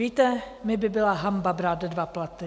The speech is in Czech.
Víte, mně by byla hanba brát dva platy.